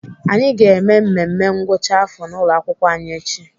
Anyị ga-eme mmemme ngwụcha afọ n'ụlọakwụkwọ anyị echi.